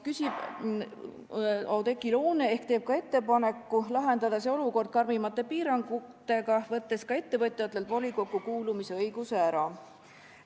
Oudekki Loone tegi ettepaneku lahendada see olukord karmimate piirangutega, võttes ka ettevõtjatelt volikokku kuulumise õiguse ära.